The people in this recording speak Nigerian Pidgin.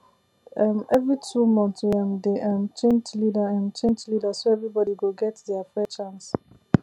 um every two months we um dey um change leader um change leader so everybody go get fair chance